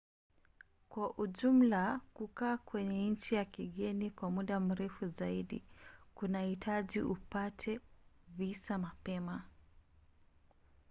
kwa ujumla kukaa kwenye nchi ya kigeni kwa muda mrefu zaidi kunahitaji upate visa mapema